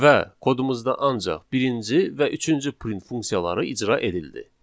Və kodumuzda ancaq birinci və üçüncü print funksiyaları icra edildi.